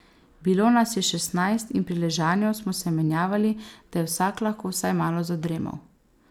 Bilo nas je šestnajst in pri ležanju smo se menjavali, da je vsak lahko vsaj malo zadremal.